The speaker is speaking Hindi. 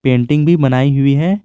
पेंटिंग भी बनाई हुई है।